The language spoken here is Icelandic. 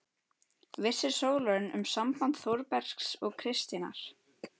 Vissi Sólrún um samband Þórbergs og Kristínar?